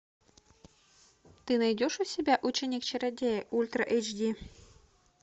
ты найдешь у себя ученик чародея ультра эйч ди